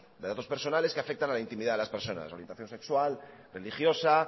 de datos personales que afectan a la intimidad de las personas orientación sexual religiosa